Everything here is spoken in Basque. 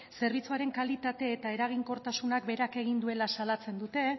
zerbitzuaren kalitate eta eraginkortasunak berak behera egin duela salatzen dute